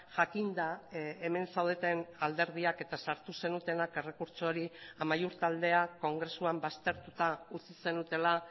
jakinda hemen zaudeten alderdiak eta sartu zenutenak errekurtso hori amaiur taldeak kongresuan baztertuta utzi zenutela